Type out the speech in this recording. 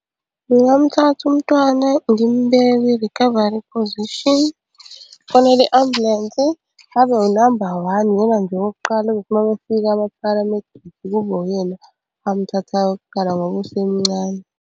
Ngingamthatha umntwana ngimubeke kwi-recovery position, ngifonele i-ambulensi abe unamba one ngoba nje okokuqala azothi uma befika ama-paramedics kube uyena amuthathayo kuqala ngoba usemncane.